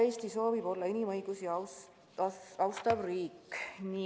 Eesti soovib olla inimõigusi austav riik.